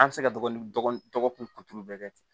An bɛ se ka dɔgɔkun dɔgɔkun dɔgɔkun bɛɛ kɛ ten